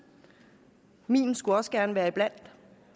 min skulle også gerne være blandt